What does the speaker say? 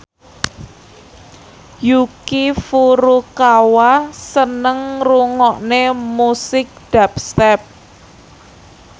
Yuki Furukawa seneng ngrungokne musik dubstep